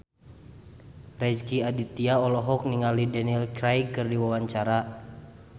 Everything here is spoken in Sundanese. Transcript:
Rezky Aditya olohok ningali Daniel Craig keur diwawancara